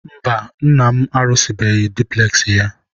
mba, nna am arụsịbeghị dupules ya.